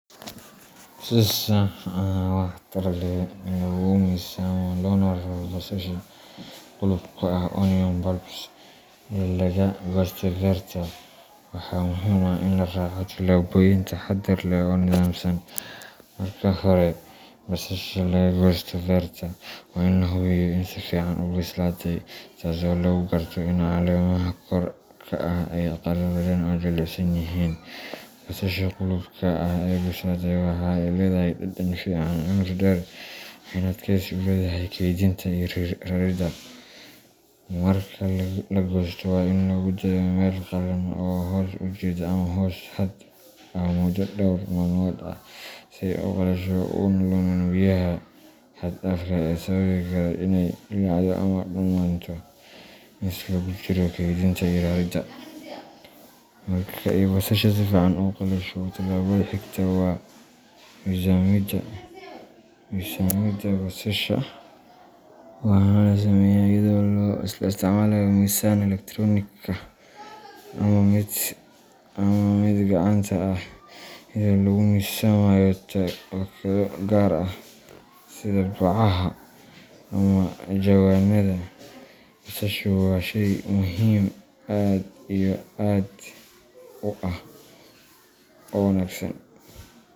Si sax ah oo waxtar leh loogu miisaamo loona raro basasha guluubka ah onion bulbs ee laga goostay beerta, waxaa muhiim ah in la raaco tillaabooyin taxadar leh oo nidaamsan. Marka hore, marka basasha laga goosto beerta, waa in la hubiyo in si fiican u bislaatay, taas oo lagu garto in caleemaha kor ka ah ay qalaleen oo jilicsan yihiin. Basasha guluubka ah ee bislaatay waxa ay leedahay dhadhan fiican, cimri dheer, waxayna adkaysi u leedahay kaydinta iyo raridda. Marka la goosto, waa in lagu daayaa meel qallalan oo hoos u jeeda ama hoos hadh ah muddo dhowr maalmood ah si ay u qalasho una lumin biyaha xad dhaafka ah ee sababi kara iney dillaacdo ama dumaanto inta lagu jiro kaydinta iyo raridda. Marka ay basasha si fiican u qalasho, tallaabada xigta waa miisaamidda. Miisaamidda basasha waxa la sameeyaa iyadoo la isticmaalayo miisaan elektaroonika ah ama mid gacanta ah, iyadoo lagu miisaamayo baakado gaar ah sida bacaha ama jawaanada. Basasha waa sheey muhim aad iyo aad u ah oo wanagsan.